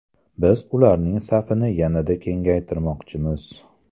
Biz ularning safini yanada kengaytirmoqchimiz.